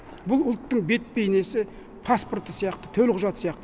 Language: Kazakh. бұл ұлттың бет бейнесі паспорты сияқты төлқұжаты сияқты